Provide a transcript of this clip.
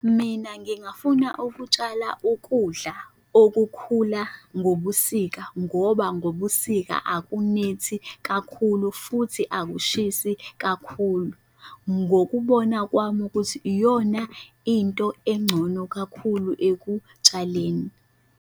Mina ngingafuna ukutshala ukudla okukhula ngobusika ngoba ngobusika akunethi kakhulu futhi akushisi kakhulu. Ngokubona kwami ukuthi iyona into engcono kakhulu ekutshaleni.